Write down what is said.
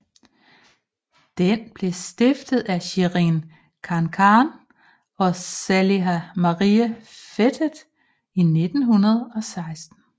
Den blev stiftet af Sherin Khankan og Saliha Marie Fetteh i 2016